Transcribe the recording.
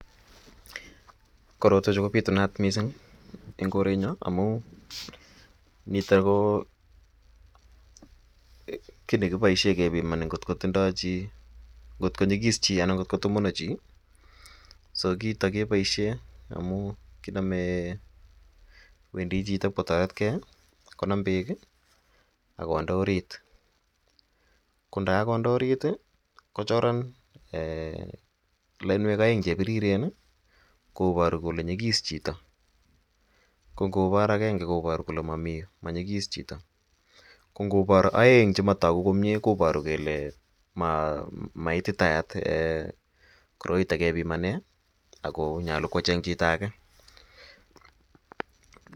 Korotwechu kobitunat mising en korenyon amun mite ko kiit nekiboishen ng'ot ko tindo chii, ng'ot konyikis chii anan ko tomonon chii so kiito keboishen amun kinome wendi chito iib kotoretke konam beek ak konde oriit, ko ndokokonde oriit kochoran loinwek oeng chebiriren koboru kole nyikis chito, ko ng'obor akeng'e koboru kole momii monyikis chito, ko ng'obor oeng chemotoku komnye koboru kelee maititayat koroito kebimanen ak konyolu kechang chito akee.